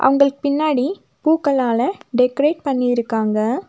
அவங்களுக்கு பின்னாடி பூக்களால டெக்கரேட் பண்ணி இருக்காங்க.